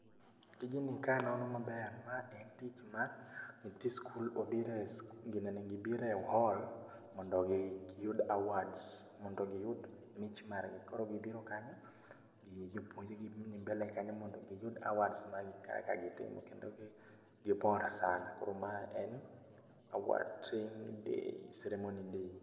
Tijni kanono maber ma en tich ma, nyithi skul obire e ginene gibire hall mondo gi giyud awards mondo giyud mich margi. Koro gibiro kanyo, gi jopuonj gi mbele kanyo mondo giyud awards mag gi kaka gitimo kendo gi gipora sana. Koro ma en award training day, ceremony day